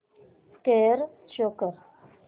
score show कर